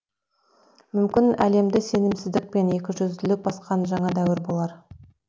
мүмкін әлемді сенімсіздікпен екі жүзділік басқан жаңа дәуір болар